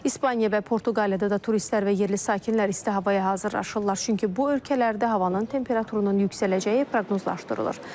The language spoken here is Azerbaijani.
İspaniya və Portuqaliyada da turistlər və yerli sakinlər isti havaya hazırlaşırlar, çünki bu ölkələrdə havanın temperaturunun yüksələcəyi proqnozlaşdırılır.